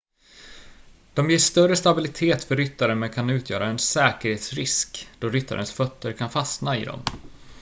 de ger större stabilitet för ryttaren men kan utgöra en säkerhetsrisk då ryttarens fötter kan fastna i dem